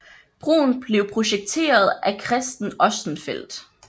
Broen blev projekteret af Christen Ostenfeld